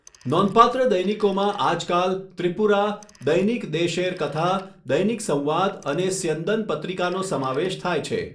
નોંધપાત્ર દૈનિકોમાં આજકાલ ત્રિપુરા, દૈનિક દેશેર કથા, દૈનિક સંવાદ અને સ્યંદન પત્રિકાનો સમાવેશ થાય છે.